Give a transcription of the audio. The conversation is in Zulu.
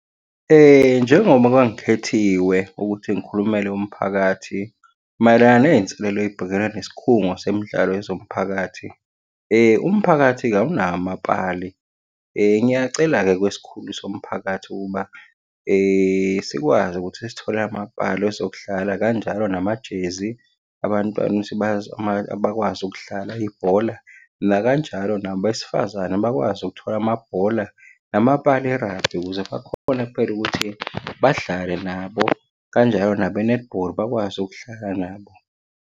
Njengoba kwangikhethiwe ukuthi ngikhulumele umphakathi mayelana ney'nselelo ey'bhekene nesikhungo semidlalo yezomphakathi. Umphakathi-ke awunawo amapali. Ngiyacela-ke kwesikhulu somphakathi ukuba, sikwazi ukuthi sithole amapali ezokudlala, kanjalo namajezi. Abantwana bakwazi ukudlala ibhola, nakanjalo nabesifazane bakwazi ukuthola amabhola, namapali e-rugby ukuze bakhone phela ukuthi-ke badlale nabo, kanjalo nabe-netball bakwazi ukudlala nabo.